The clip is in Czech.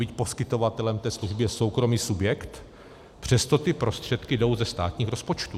Byť poskytovatelem té služby je soukromý subjekt, přesto ty prostředky jdou ze státních rozpočtů.